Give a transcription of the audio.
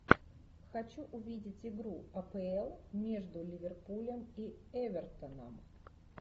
хочу увидеть игру апл между ливерпулем и эвертоном